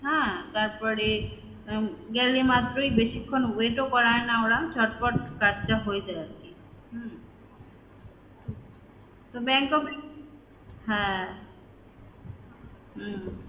হ্যাঁ তারপরে উম গেলে মাত্রই বেশিক্ষণ wait ও করায় না তারা চটপট কাজটা হয়ে যায় আরকি হম তো bank of হ্যাঁ হম